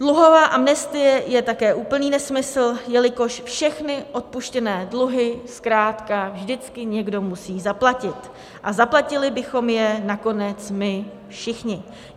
Dluhová amnestie je také úplný nesmysl, jelikož všechny odpuštěné dluhy zkrátka vždycky někdo musí zaplatit, a zaplatili bychom je nakonec my všichni.